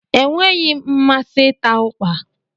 Enweghị m mmasị ịta ukpa